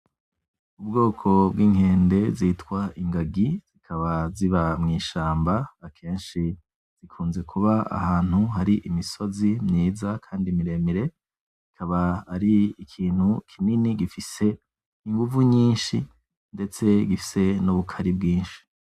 Ubwoko bw'inkende zitwa Ingagi zikaba ziba mwi shamba akenshi zikunze kuba ahantu hari imisozi myiza kandi miremire kikaba ari ikintu kinini gifise inguvu nyishi ndetse gifise n'ubukare bwishi .